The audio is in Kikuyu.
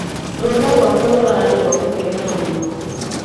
Rũtha rwakwa rũrarĩ rwa gũkenera mũno.